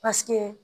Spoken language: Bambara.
Paseke